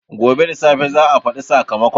Gobe da safe za a faɗi sakamakon